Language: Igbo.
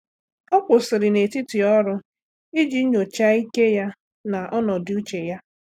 Ọ́ kwụ́sị̀rị̀ n’etiti ọ́rụ́ iji nyòcháá ike ya na ọnọdụ úchè ya.